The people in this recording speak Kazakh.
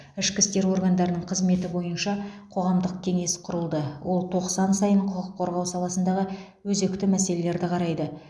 ішкі істер органдарының қызметі бойынша қоғамдық кеңес құрылды ол тоқсан сайын құқық қорғау саласындағы өзекті мәселелерді қарайды